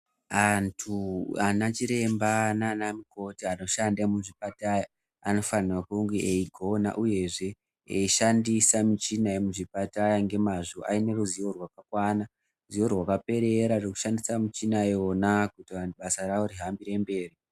Antu anachiremba naanamukoti anoshanda muzvipatara anofana kunge eigona uyezve eishandisa muchina yemuzvipatara ngemazvo aine ruzivo rakakwana ruziwo rwakaperera rwekushandisa muchina yona kuti vantu basa ravo rihambire mberi.